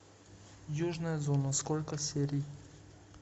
южная зона сколько серий